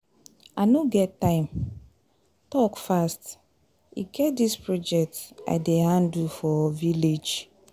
I no get time talk fast. E get dis project I dey handle for village.